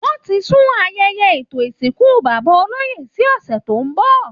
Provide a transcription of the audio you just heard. Wọ́n ti sún ayẹyẹ ètò ìsìnkú bàbá olóyè sí ọ̀sẹ̀ tó ń bọ̀